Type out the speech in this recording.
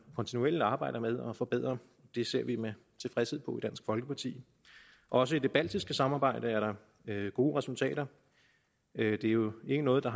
kontinuerligt arbejder med at forbedre det ser vi med tilfredshed på i dansk folkeparti også i det baltiske samarbejde er der gode resultater det er jo ikke noget der